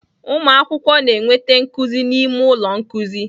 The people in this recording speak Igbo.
Ụmụ akwụkwọ na-enweta nkuzi n'ime ụlọ nkuzi